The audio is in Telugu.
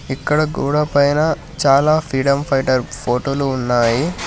ఇక్కడ గోడ పైన చాలా ఫ్రీడమ్ ఫైటర్స్ ఫోటోలు ఉన్నాయి.